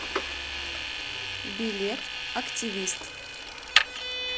билет активист